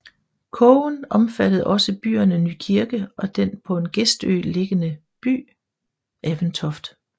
Kogen omfattede også byerne Nykirke og den på en gestø liggende by Aventoft